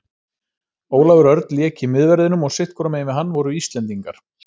Ólafur Örn lék í miðverðinum og sitthvorum megin við hann voru Íslendingar.